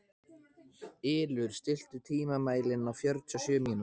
Ylur, stilltu tímamælinn á fjörutíu og sjö mínútur.